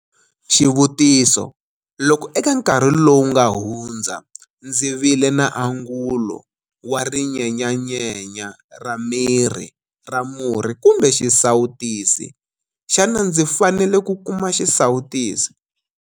Xivutiso- Loko eka nkarhi lowu nga hundza ndzi vile na angulo wa rinyenyanyenya ra miri ra murhi kumbe xisawu tisi, xana ndzi fanele ku kuma xisawutisi?